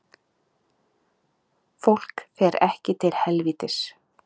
Fólk fer ekki til helvítis